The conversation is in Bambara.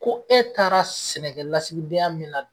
Ko e taara sɛnɛkɛlasigidenya min na